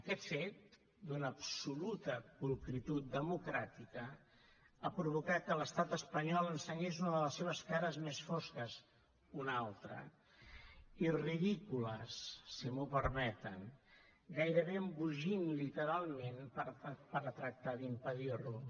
aquest fet d’una absoluta pulcritud democràtica ha provocat que l’estat espanyol ensenyés una de les seves cares més fosques una altra i ridícules si m’ho permeten gairebé embogint literalment per a tractar d’impedir ho